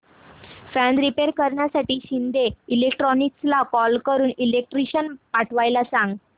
fan repair करण्यासाठी शिंदे इलेक्ट्रॉनिक्सला call करून इलेक्ट्रिशियन पाठवायला सांग